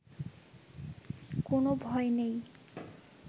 কোনো ভয় নেই